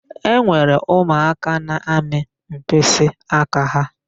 E nwere ụmụaka na-amị mkpịsịaka ha.